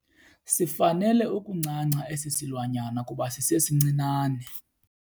Sifanele ukuncanca esi silwanyana kuba sisesincinane.